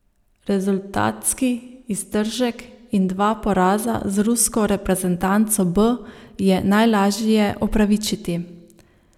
Rezultatski iztržek in dva poraza z rusko reprezentanco B je najlažje opravičiti.